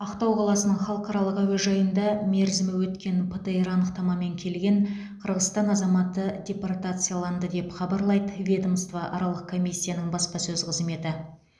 ақтау қаласының халықаралық әуежайында мерзімі өткен птр анықтамамен келген қырғызстан азаматы депортацияланды деп хабарлайды ведомствоаралық комиссияның баспасөз қызметі